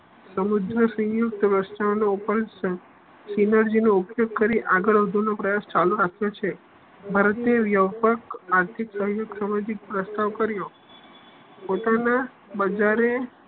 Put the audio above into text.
સમુદ્ર સંયુક્ત ઉપયોગ કરી આગળ વધો નો પ્રયાસ ચાલુ રાખ્યો છે ભારતીય વયવક આર્થિક સામાજિક પ્રસ્તાવ કર્યો પોતાના બજારે